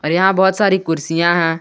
यहां बहुत सारी कुर्सियां हैं।